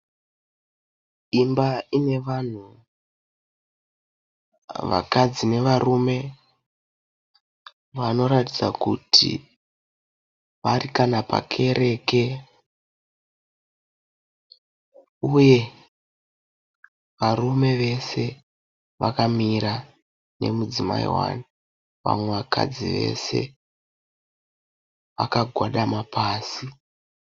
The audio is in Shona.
Imba ine vanhu. Vakadzi nevarume vanoratidza kuti vari kana pakereke uye varume vese vakamira nemudzimai hwani. Vamwe vakadzi vese vakagwadama pasi.